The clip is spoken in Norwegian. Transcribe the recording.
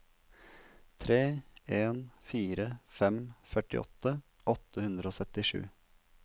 tre en fire fem førtiåtte åtte hundre og syttisju